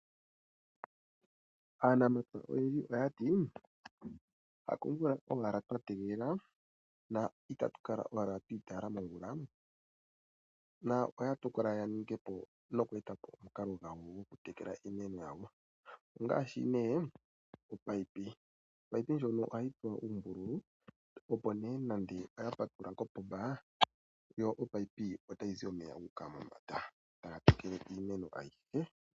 Aanamapya oyendji oya ti hakomumwa owala twa tegelela, na itatu kala owala twi itaala momvula, na oya tokola ya ninge po noku eta po omukalo gwawo gwokutekela iimeno yawo ngaashi nee opaipi, opaipi ndjono ohayi tsuwa uumbululu opo nee nande oya patulula kopomba, yo opaipi otayi zi omeya gu uka mombanda taga tekele iimeno ayihe.